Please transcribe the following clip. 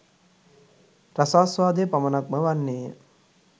රසාස්වාදය පමණක්ම වන්නේය